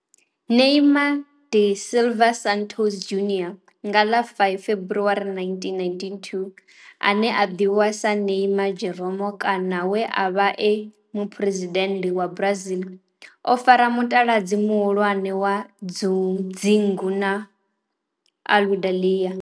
Neymar da Silva Santos Junior nga ḽa 5 February 1992 ane a ḓivhiwa sa Neymar Jeromme kana we a vha e muphuresidennde wa Brazil o fara mutaladzi muhulwane wa dzingu na Aludalelia.